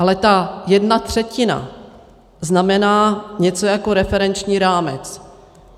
Ale ta jedna třetina znamená něco jako referenční rámec.